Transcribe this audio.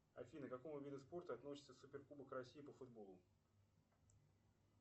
афина к какому виду спорта относится суперкубок россии по футболу